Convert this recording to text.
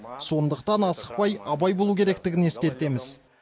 сондықтан асықпай абай болу керектігін ескертеміз